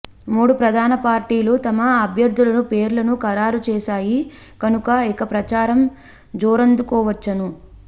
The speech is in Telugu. మూడు ప్రధాన పార్టీలు తమ అభ్యర్ధుల పేర్లను ఖరారు చేసాయి కనుక ఇక ప్రచారం జోరందుకోవచ్చును